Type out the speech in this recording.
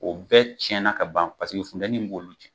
O bɛɛ tiɲɛna ka ban paseke funtɛnin b'olu cɛn.